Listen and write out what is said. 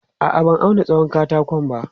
A'a, ban auna tsawon katakon ba.